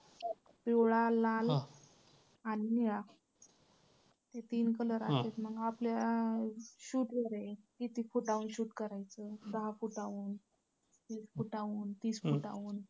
पिवळा, लाल आणि निळा हे तीन colour असतात. आपल्या shoot वर आहे. किती फुटांवर shoot करायचं? दहा फुटांवरून, वीस फुटांहून, तीस फुटांहून.